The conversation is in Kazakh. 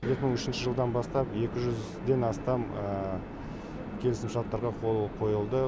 екі мың үшінші жылдан бастап екі жүзден астам келісімшарттарға қол қойылды